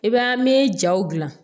I b'a an bɛ jaw gilan